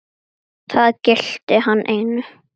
Það gilti hann einu.